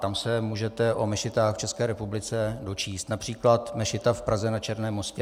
Tam se můžete o mešitách v České republice dočíst, například mešita v Praze na Černém Mostě.